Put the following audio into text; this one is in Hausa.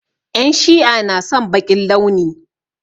En Shi'a na son baƙin launi.